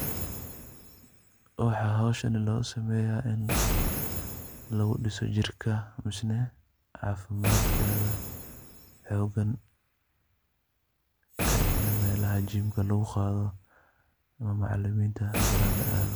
Waxa howshani losameya in lagudhiso jirka mise cafimadkada xogan ee in melaha gymka laguqado oo macaliminta baran laado.